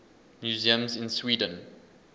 museums in sweden